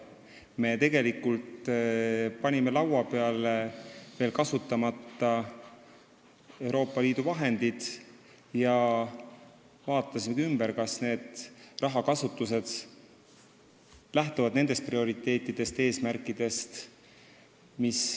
Me panime laua peale veel kasutamata Euroopa Liidu vahendid ja vaatasime üle, kas rahakasutus lähtub meie prioriteetidest ja eesmärkidest.